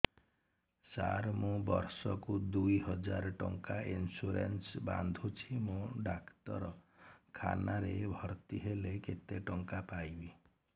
ସାର ମୁ ବର୍ଷ କୁ ଦୁଇ ହଜାର ଟଙ୍କା ଇନ୍ସୁରେନ୍ସ ବାନ୍ଧୁଛି ମୁ ଡାକ୍ତରଖାନା ରେ ଭର୍ତ୍ତିହେଲେ କେତେଟଙ୍କା ପାଇବି